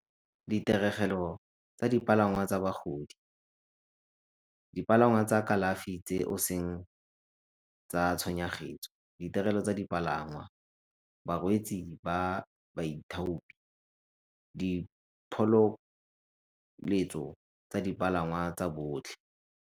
Ditiregelo tsa dipalangwa tsa bagodi, dipalangwa tsa kalafi tse o seng tsa , ditirelo tsa dipalangwa, barwetsi ba baithopi, diphololetso tsa dipalangwa tsa botlhe.